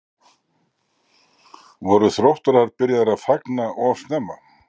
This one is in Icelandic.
Voru Þróttarar byrjaðir að fagna of snemma?